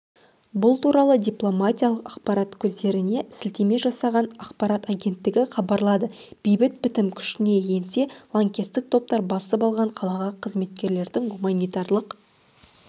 бұл туралы дипломатиялық ақпарат көздеріне сілтеме жасаған ақпарат агенттігі хабарлады бейбіт бітім күшіне енсе лаңкестік топтар басып алған қалаға қызметкерлерінің гуманитарлық